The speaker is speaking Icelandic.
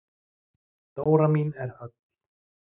Dóra mín er öll.